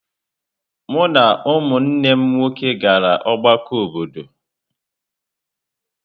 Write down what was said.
Mụ na ụmụnne m nwoke gara ọgbakọ obodo.